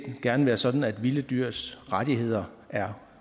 gerne være sådan at vilde dyrs rettigheder er